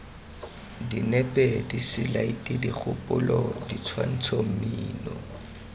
dinepe diselaete dikgopolo ditshwantsho mmino